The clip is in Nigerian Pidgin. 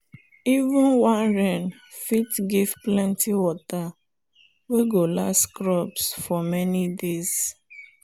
even one rain fit give plenty water wey go last crops for many days.